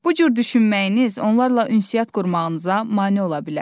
Bu cür düşünməyiniz onlarla ünsiyyət qurmağınıza mane ola bilər.